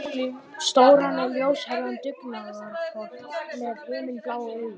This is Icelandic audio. Stóran og ljóshærðan dugnaðarfork með himinblá augu.